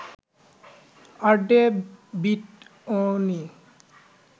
Audrey বিটয়নি